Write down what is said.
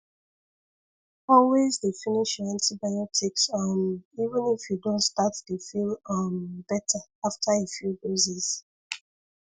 always dey finish your antibiotics um even if you don start dey feel um better after a few doses